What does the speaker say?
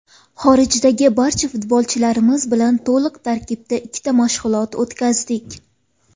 Xorijdagi barcha futbolchilarimiz bilan to‘liq tarkibda ikkita mashg‘ulot o‘tkazdik.